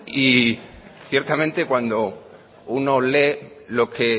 y ciertamente cuando uno lee lo que